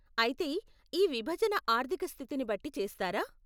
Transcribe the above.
అయితే, ఈ విభజన ఆర్ధిక స్థితిని బట్టి చేస్తారా?